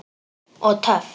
Og töff!